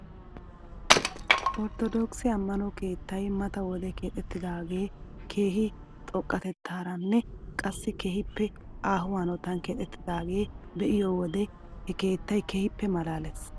Ortodookise ammano keetay mata wode keexettidaagee keehi xoqqatetaaranne qassi keehippe aaho hanotan keexettidaagaa be'iyoo wode he keetay keehippe malaales .